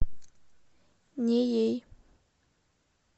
неей